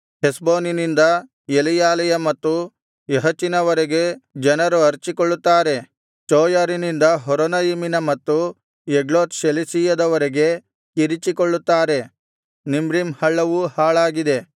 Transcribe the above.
ಹೆಷ್ಬೋನಿನಿಂದ ಎಲೆಯಾಲೆಯ ಮತ್ತು ಯಹಚಿನವರೆಗೆ ಜನರು ಅರಚಿಕೊಳ್ಳುತ್ತಾರೆ ಚೋಯರಿನಿಂದ ಹೊರೊನಯಿಮಿನ ಮತ್ತು ಎಗ್ಲತ್ ಶೆಲಿಶೀಯದವರೆಗೆ ಕಿರಿಚಿಕೊಳ್ಳುತ್ತಾರೆ ನಿಮ್ರೀಮ್ ಹಳ್ಳವೂ ಹಾಳಾಗಿದೆ